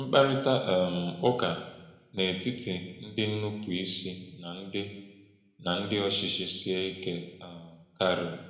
Mkparịta um ụka n’etiti ndị nnupụisi na ndị na ndị ọchịchị sie ike um karị.